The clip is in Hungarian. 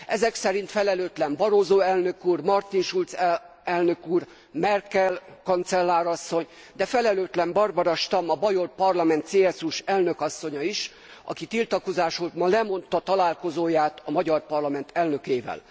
Ezek szerint felelőtlen Barroso elnök úr, Martin Schulz elnök úr, Merkel kancellár asszony, de felelőtlen Barbara Stamm, a Bajor Parlament CSU s elnökasszonya is, aki tiltakozásul ma lemondta találkozóját a magyar parlament elnökével.